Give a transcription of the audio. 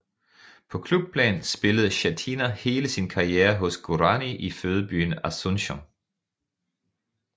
På klubplan spillede Schettina hele sin karriere hos Guaraní i fødebyen Asuncion